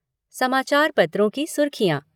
समाचार पत्रों की सुर्खियाँ